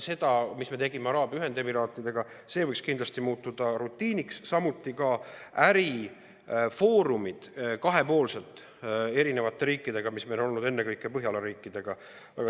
Seda me tegime koos Araabia Ühendemiraatidega ja see võiks kindlasti muutuda rutiiniks, samuti kahepoolsed ärifoorumid eri riikidega, mida meil on olnud ennekõike koos Põhjala riikidega.